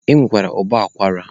E nwere ụbọ akwara.